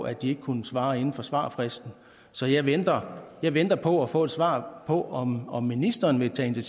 at de ikke kunne svare inden for svarfristen så jeg venter jeg venter på at få et svar på om om ministeren vil tage